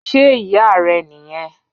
Ṣe iya rẹ niyẹn?